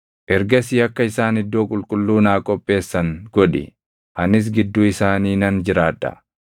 “Ergasii akka isaan iddoo qulqulluu naa qopheessan godhi; anis gidduu isaanii nan jiraadha.